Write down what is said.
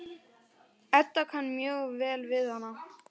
Edda kann mjög vel við hann.